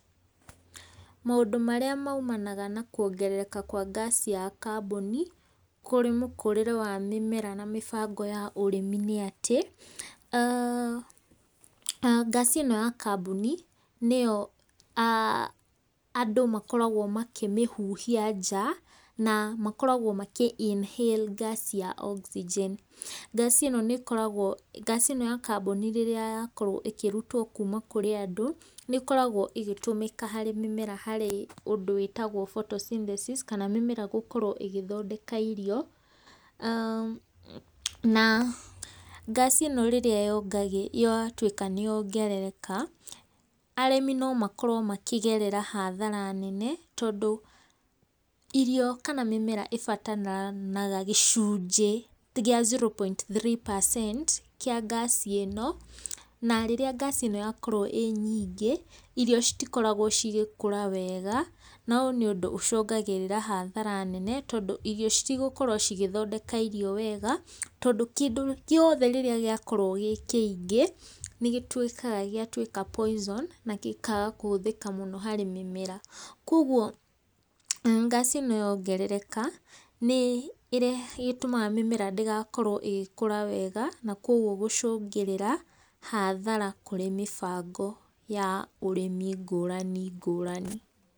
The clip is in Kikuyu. Maũndũ marĩa maumanaga na kwongereka kwa ngaci ya kambuni, kurĩ mũkũrĩre wa mĩmera na mĩbango ya ũrĩmi nĩ atĩ, ngaci ĩno ya kambuni nĩyo andũ makoragwo makĩmĩhuhia nja, na makoragwo makĩ inhale ngaci ya Oxygen. Ngaci ĩno ya kambuni rĩrĩa yakorwo ĩkĩrutwo kuma kũrĩ andũ, nĩ ĩkoragwo ĩgĩtũmĩka harĩ mĩmera harĩ ũndũ wĩtagwo photosynthesis, kana mĩmera gũkorwo ĩgĩthondeka irio. Na ngaci ĩno rĩrĩa yatwĩka nĩ yongerereka, arĩmi no makorwo makĩgerera hathara nene tondũ irio kana mĩmera ĩbataraga gĩcunjĩ kĩa zero point three percent, kĩa ngaci ĩno. Na rĩrĩra ngaci ĩno rĩrĩa yakorwo ĩĩ nyingi, irio citikoragwo cigĩkũra wega. Na ũyũ nĩ ũndũ ũcũngagĩrĩra hathara nene, tondũ irio citigũkorwo cigĩthondeka irio wega tondũ kĩndũ gĩothe rĩrĩa gĩakorwo gĩ kĩingĩ, nĩ gĩtwĩkaga gĩatwĩka poison, na gĩkaga kũhũthĩka mũno harĩ mĩmera. Koguo ngaci ĩno yongerereka, nĩ ĩtũmaga mĩmera ndĩgakorwo ĩgĩkũra wega, na koguo gũcũngĩrĩra hathara kurĩ mĩbango ya ũrĩmi ngũrani ngũrani.